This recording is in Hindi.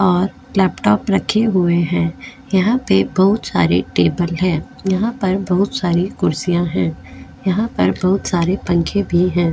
और लॅपटॉप रखे हुए है यहाँ पे बहुत सारे टेबल है यहाँ पर बहुत सारे कुर्सीया है यहाँ पर बहुत सारे पंखे भी है।